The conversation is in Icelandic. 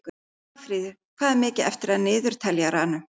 Dagfríður, hvað er mikið eftir af niðurteljaranum?